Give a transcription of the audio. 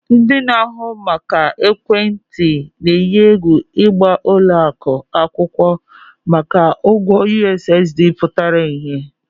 Telecoms operators are threatening to sue banks over their outstanding USSD debt